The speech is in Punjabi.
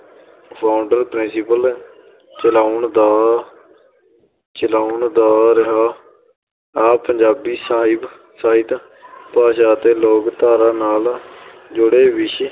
founder principal ਚਲਾਉਣ ਦਾ ਚਲਾਉਣ ਦਾ ਰਿਹਾ ਪੰਜਾਬੀ ਸਾਹਿਬ ਸਾਹਿਤ ਭਾਸ਼ਾ ਅਤੇ ਲੋਕ-ਧਾਰਾ ਨਾਲ ਜੁੜੇ ਵਿਸ਼ੇ